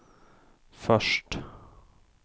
först